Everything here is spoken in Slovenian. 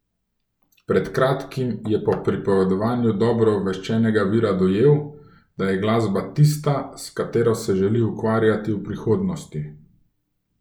Pred kratkim je po pripovedovanju dobro obveščenega vira dojel, da je glasba tista, s katero se želi ukvarjati v prihodnosti.